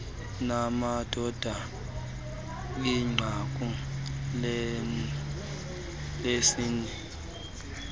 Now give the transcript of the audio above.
namadoda inqaku lesini